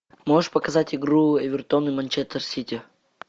можешь показать игру эвертон и манчестер сити